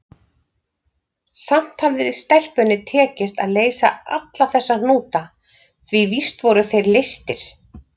Samt hafði stelpunni tekist að leysa alla þessa hnúta, því víst voru þeir leystir.